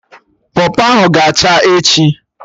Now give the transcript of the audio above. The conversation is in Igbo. Pọpọ ahụ ga-acha echi